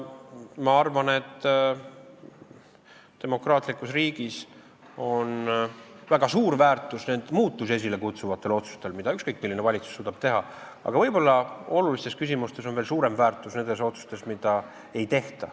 Ma arvan, et demokraatlikus riigis on väga suur väärtus muutusi esile kutsuvatel otsustel, mida ükskõik milline valitsus suudab teha, aga võib-olla olulistes küsimustes on veel suurem väärtus nendel otsustel, mida ei tehta.